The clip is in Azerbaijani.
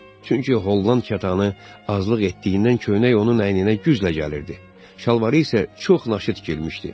Çünki Holland katanı azlıq etdiyindən köynək onun əyninə güclə gəlirdi, şalvarı isə çox naşı tikilmişdi.